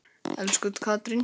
Elsku Katrín.